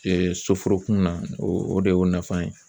soforokun na o o de y'o nafa ye.